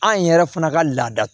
An yɛrɛ fana ka laada